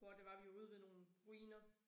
Hvor det var vi var ude ved nogle ruiner